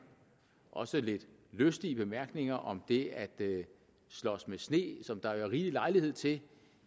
også lidt lystige bemærkninger om det at slås med sne som der har været rigelig lejlighed til